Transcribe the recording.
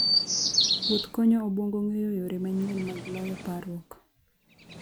Wuoth konyo obwongo ng'eyo yore manyien mag loyo parruok.